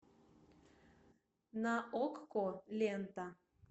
на окко лента